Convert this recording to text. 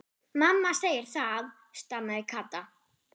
Mamma segir það, stamaði Kata.